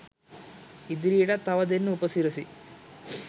ඉදිරියටත් තව දෙන්න උපසිරසි